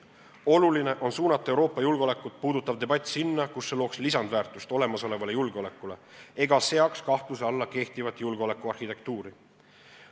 Oluline on suunata Euroopa julgeolekut puudutav debatt sinna, kus see looks lisandväärtust olemasolevale julgeolekule ega seaks kahtluse alla kehtivat julgeolekuarhitektuuri.